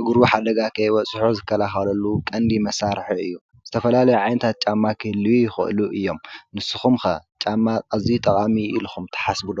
እግሩ ሓደጋ ኸይበፅሖ ዝከላኸለሉ ቐንዲ መሳርሒ እዩ፡፡ ዝተፈላለዩ ዓይነታት ጫማ ክህልዩ ይኽእሉ እዮም፡፡ ንስኹም ከ ጫማ እዙይ ጠቓሚ ኢልኹም ተሓስብ ዶ?